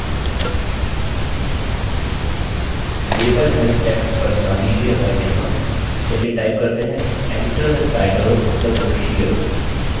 label help text पर ध्यान दीजिये और यहाँ चलिए type करते हैं enter the title of the book here